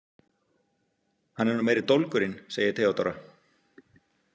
Hann er nú meiri dólgurinn, segir Theodóra.